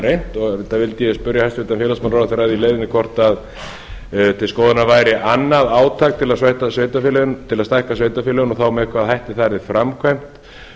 reynt þess vegna vildi ég spyrja hæstvirtan félagsmálaráðherra að því í leiðinni hvort til skoðunar væri annað átak til að stækka sveitarfélögin og þá með hvaða hætti það yrði framkvæmt